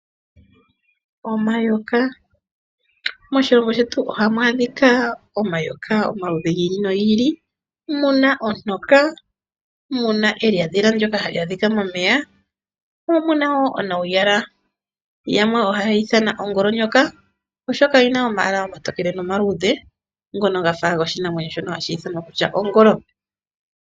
Omayoka. Moshilongo shetu ohamu adhika omayoka omaludhi gi ili nogi ili ngaashi ontoka, elyatelo ndyoka hali adhika momeya mo omu na wo nuuyala yamwe ohaya ye ithana ongolonyoka, oshoka oyi na omayala omatokele nomaluudhe ngono ga fa goshinamwenyo shongolo.